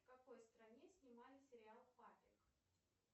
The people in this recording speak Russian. в какой стране снимали сериал папик